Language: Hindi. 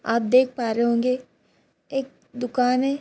आप देख पा रहे होंगे एक दुकान है।